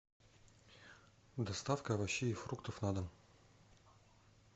доставка овощей и фруктов на дом